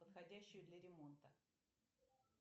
подходящую для ремонта